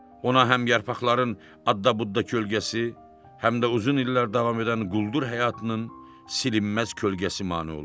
Ona həm yarpaqların adda-budda kölgəsi, həm də uzun illər davam edən quldur həyatının silinməz kölgəsi mane olurdu.